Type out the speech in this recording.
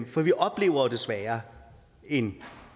for vi oplever jo desværre en